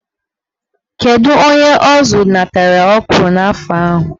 Kedụ onye ọ zụnatara ọkwụrụ n'afọ ahụ?